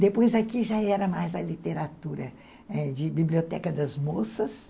Depois aqui já era mais a literatura ãh de Biblioteca das Moças.